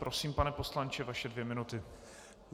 Prosím, pane poslanče, vaše dvě minuty.